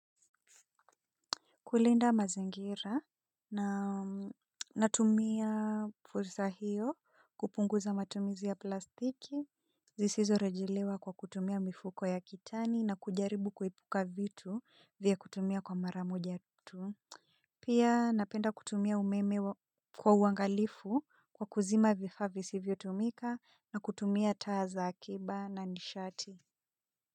Kulinda mazingira na natumia fursa hiyo kupunguza matumizi ya plastiki, zisizo rejelewa kwa kutumia mifuko ya kitani na kujaribu kuepuka vitu vya kutumia kwa mara moja tu. Pia napenda kutumia umeme kwa uangalifu kwa kuzima vifaa visivyo tumika na kutumia taa za akiba na nishati.